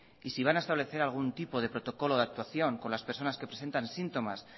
y si van a establecer algún tipo de protocolo de actuación con las personas que presentan síntomas